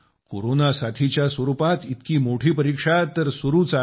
corona साथीच्या स्वरूपात इतकी मोठी परीक्षा तर सुरूच आहे